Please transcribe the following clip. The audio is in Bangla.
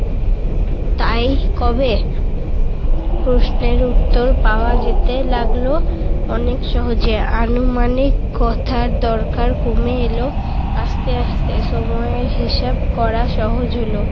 তাই কবে প্রশ্নের উত্তর পাওয়া যেতে লাগল অনেক সহজে। আনুমানিক কথার দরকার কমে এলো আস্তে আস্তে সময়ের হিসাব করা সহজ হলো।